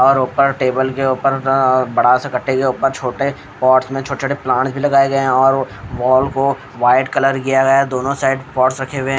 और ऊपर टेबल के ऊपर बड़ा सा कट्टे के ऊपर छोटे पॉट्स में छोटे-छोटे प्लांट्स भी लगाए गए हैं और वॉल को व्हाईट कलर किया गया है दोनों साइड पॉट्स रखे हुए हैं।